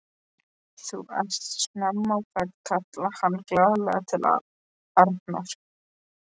Þú ert snemma á ferð! kallaði hann glaðlega til Arnar.